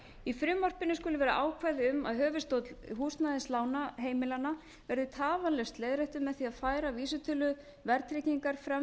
í frumvarpinu skulu vera ákvæði um að höfuðstóll húsnæðislána heimila verði tafarlaust leiðréttur með því að færa vísitölu verðtryggingar fram